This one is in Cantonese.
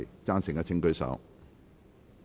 贊成的請舉手。